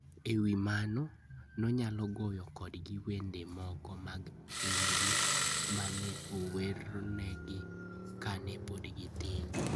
E wi mano, nonyalo goyo kodgi wende moko mag pinygi ma ne oweronegi kane pod gitindo.